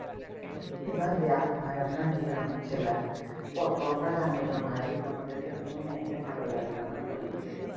এবার দেখ ভাই আমরা গ্রামের ছেলে তো আমরা জানিনা ভাই আমাদেরকে কোন মেয়েকে ভালো লাগলে বলে দিয়ে